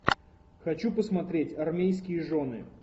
хочу посмотреть армейские жены